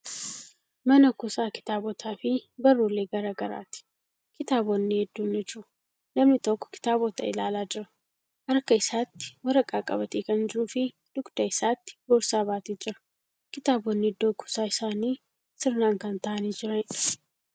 Mana kuusaa kitaabotaa fi barruulee garagaraati. Kitaabonni hedduun ni jiru. Namni tokko kitaabota ilaalaa jira. Harka isaatti waraqaa qabatee kan jiruu fii dugda isaatti boorsaa baatee jira. Kitaabonni iddoo kuusaa isaanii sirnaan kan taa'anii jiraniidha.